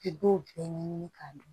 I b'o bɛɛ ɲɛɲini k'a dɔn